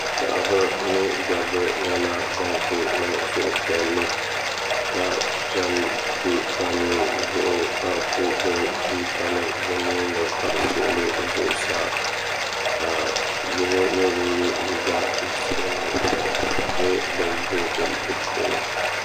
paɣ' ba ni da ba nyɛla bam kuli nɛŋ suhipiɛli ka chɛni bɛ palizuɣ' ka kuli gbabi tuuta nim be nuuni wuɣ' zuŋ saa ka yino nyɛ ŋɔ yɛ liga sabinli ka ʒiɛ nyɛ din boi gili di puuni